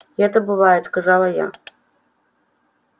это бывает сказала я